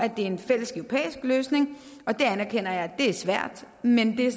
er en fælles europæisk løsning og det anerkender jeg er svært men det er